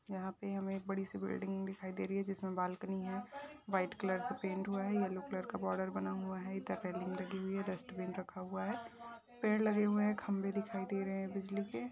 यहा पे हमे एक बडीसी बिल्डिंग दिखाई दे रही है। जिसमे बाल्कनी है। व्हाइट कलर का पेंट हुआ है। येल्लो कलर का बॉर्डर बना हुआ है। एक तरफ रेलिंग लगी हुई है। डस्टबीन रखा हुआ है। पेड़ लगे हुए है। खंबे दिखाई दे रहे बिजली के।